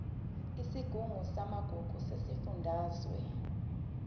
isigungu samagugu sesifundazwe